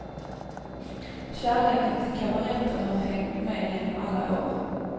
Kärleken till kabareten har hängt med genom alla år.